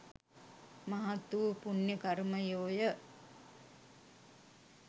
මහත් වූ පුණ්‍ය කර්මයෝය.